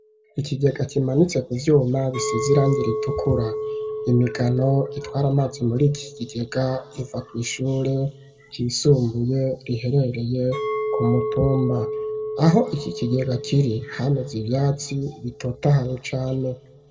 Ikigega kimanitse ku vyuma biseze irangire ritukura imigano itwara amazi muri iki kigega iva kw'ishure ryisumbuye riherereye ku mutumba aho iki kigega kiri hameze ivyatsi bitotahaye cane